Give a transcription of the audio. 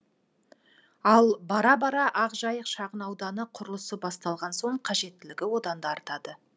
ал бара бара ақжайық шағын ауданы құрылысы басталған соң қажеттілігі одан да артады